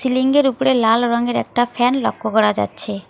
সিলিঙ্গের উপরে লাল রঙের একটা ফ্যান লক্ষ্য করা যাচ্ছে।